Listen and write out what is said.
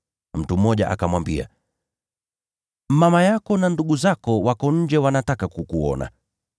Mtu mmoja akamwambia, “Mama yako na ndugu zako wako nje wanataka kukuona.”